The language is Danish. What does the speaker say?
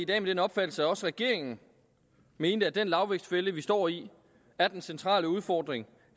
den opfattelse at også regeringen mente at den lavvækstfælde vi står i er den centrale udfordring